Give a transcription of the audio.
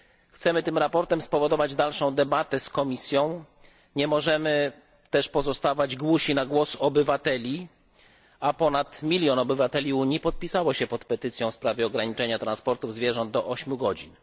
Chcemy tym sprawozdaniem spowodować dalszą debatę z Komisją, nie możemy też pozostawać głusi na głos obywateli, a ponad milion obywateli Unii podpisało się pod petycją w sprawie ograniczenia transportu zwierząt do 8 godzin.